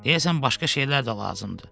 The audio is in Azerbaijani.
Deyəsən başqa şeylər də lazımdır.